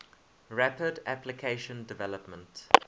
rapid application development